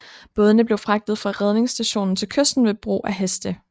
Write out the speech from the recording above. Bådene blev fragtet fra redningsstationen til kysten ved bruge af heste